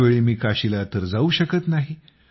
यावेळी मी काशीला तर जाऊ शकत नाही